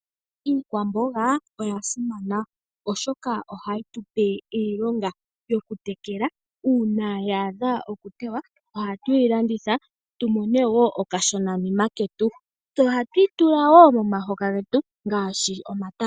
Iikwamboga oya simana oshoka ohayitupe iilonga yokutekela. Uuna ya adha okuteywa ohatuyi landitha tu mone wo okashonanima ketu. Tse ohatuyi tula woo momahoka getu ngaashi omatama.